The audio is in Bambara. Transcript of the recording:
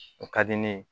O ka di ne ye